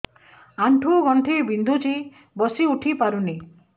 ଆଣ୍ଠୁ ଗଣ୍ଠି ବିନ୍ଧୁଛି ବସିଉଠି ପାରୁନି